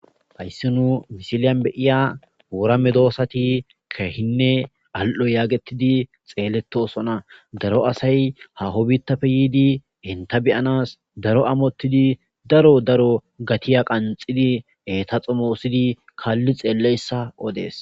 hayssi nu misiliyan beyiya ourame doosati keehinne al7o yaagettidi xeeletosona daro asay hahobittapfe yiidi henta beyanas daro amottidi daro daro gatiya qanxidi eta xomoosidi kaalli xeelleyssa odees